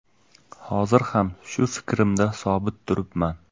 Hozir ham shu fikrimda sobit turibman.